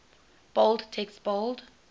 bold text bold